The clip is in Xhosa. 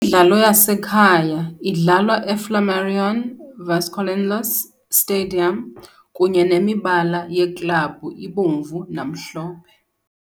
dlalo yasekhaya idlalwa eFlamarion Vasconcelos Stadium, kunye nemibala yeklabhu ibomvu namhlophe.